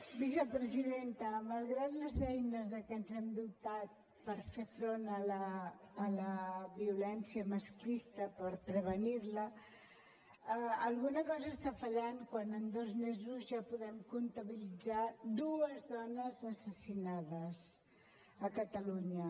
vicepresidenta malgrat les eines de què ens hem dotat per fer front a la violència masclista per prevenir la alguna cosa està fallant quan en dos mesos ja podem comptabilitzar dues dones assassinades a catalunya